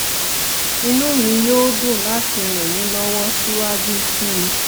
inú mi yóò dùn láti ràn yín lọ́wọ́ síwájú sí i